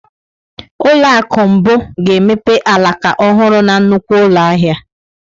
Ụlọ akụ mbụ ga-emepe alaka ọhụrụ na nnukwu ụlọ ahịa.